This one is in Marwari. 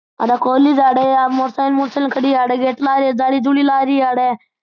आ बा कॉलेज है अठे मोटरसाइकिल मोटरसाइकिल खड़ी है अठे गेट लाग रियो जाली जुली लाग रही अठे।